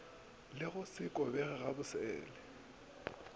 le go se kobege gabosele